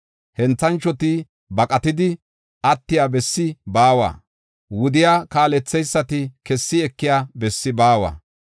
Henthanchoti baqatidi attiya bessi baawa; wudiya kaaletheysati kessi ekiya bessi baawa.